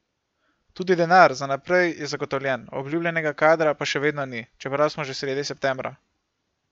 Tudi denar za naprej je zagotovljen, obljubljenega kadra pa še vedno ni, čeprav smo že sredi septembra!